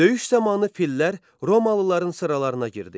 Döyüş zamanı fillər Romalıların sıralarına girdi.